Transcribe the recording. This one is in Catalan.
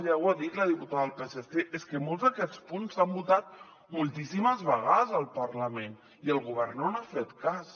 ja ho ha dit la diputada del psc és que molts d’aquests punts s’han votat moltíssimes vegades al parlament i el govern no n’ha fet cas